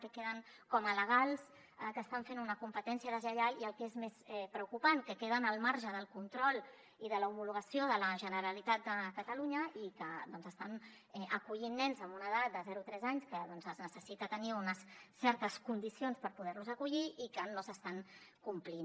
que queden com alegals que hi estan fent una competència deslleial i el que és més preocupant que queden al marge del control i de l’homologació de la generalitat de catalunya i que doncs estan acollint nens amb una edat de zero a tres anys perquè es necessita tenir unes certes condicions per poder los acollir i no s’estan complint